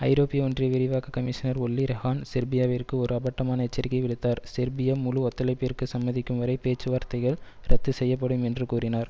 ஐரோப்பிய ஒன்றிய விரிவாக்க கமிஷனர் ஒல்லி ரெஹான் செர்பியாவிற்கு ஒரு அப்பட்டமான எச்சரிக்கையை விடுத்தார் செர்பியா முழு ஒத்துழைப்பிற்கு சம்மதிக்கும் வரை பேச்சுவார்த்தைகள் இரத்து செய்யப்படும் என்று கூறினார்